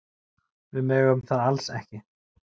Við megum það alls ekki.